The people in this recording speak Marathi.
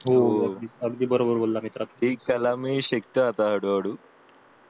हो हो अगदी बरोबर बोललास मित्रा हे त्याला मी शिकतोय आता हळू हळू